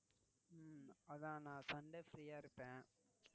அதான் நான் Sunday free ஆஹ் இருப்பேன்